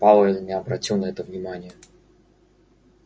пауэлл не обратил на это внимания